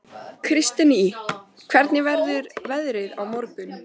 Kristine, hvernig verður veðrið á morgun?